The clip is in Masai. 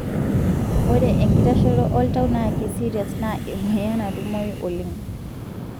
ore enkitashoto oltau na kiserious na emoyian natumoyu oleng.